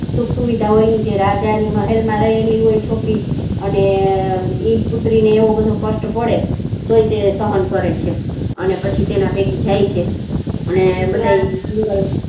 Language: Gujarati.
સુખ સુવિધાઓ ની છે રાજા ના મહેલ માં રહેલી હોય છોકરી અને એક પુત્રી ને કષ્ટ પડે તે સહન કરેં છે અને પછી તેના ભેગી જાય છે ને